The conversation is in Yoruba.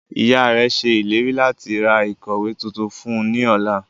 Iyạ rẹ ṣe ileri lati ra ikọwe tuntun fun u ni ọla.